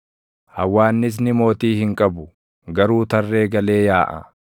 hawwaannisni mootii hin qabu; garuu tarree galee yaaʼa;